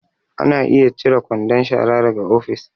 Ana iya cire kwandon shara daga ofis